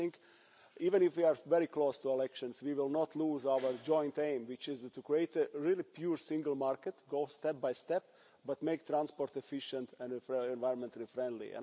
I think even if we are very close to elections we will not lose our joint aim, which is to create a really pure single market, go step by step, but make transport efficient and environmentally friendly.